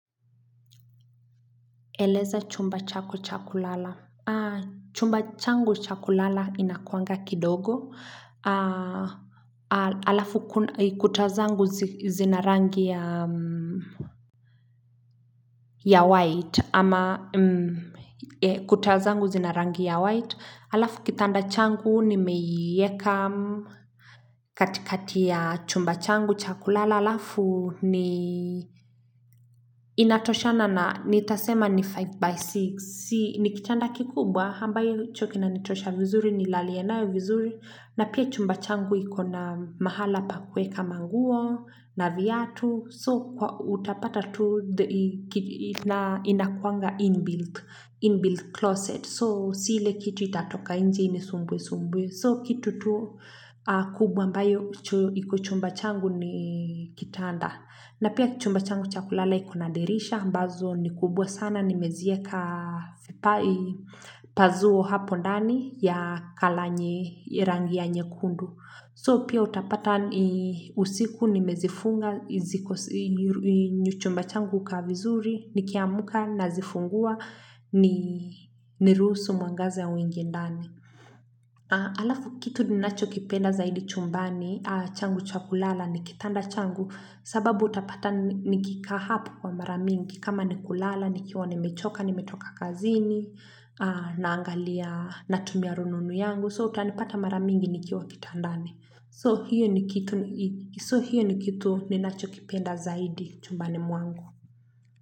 Eleza chumba chako cha kulala chumba changu cha kulala inakuanga kidogo alafu kuta zangu zina rangi ya ya white ama kuta zangu zina rangi ya white alafu kitanda changu nimeieka katikati ya chumba changu cha kulala alafu ni ni inatosha na nitasema ni 5x6 ni kitanda kikubwa ambacho kinanitosha vizuri nilalie nayo vizuri na pia chumba changu iko na mahala pa kueka manguo na viatu so utapata tu inakuanga inbuilt closet so si ile kitu itatoka nje inisumbuesumbue so kitu tu kubwa ambayo iko chumba changu ni kitanda na pia chumba changu cha kulala iko na dirisha, ambazo ni kubwa sana, nimezieka pa zuo hapo ndani ya colour nye rangi ya nyekundu. So pia utapata usiku, nimezifunga, chumba changu hukaa vizuri, nikiamka, nazifungua, niruhusu mwangaza uingie ndani. Alafu kitu ninacho kipenda zaidi chumbani changu cha kulala ni kitanda changu sababu utapata nikikaa hapo kwa mara mingi kama nikulala nikiwa nimechoka nimetoka kazini naangalia natumia rununu yangu so utanipata mara mingi nikiwa kitandani. So hiyo ni kitu ninachokipenda zaidi chumbani mwangu.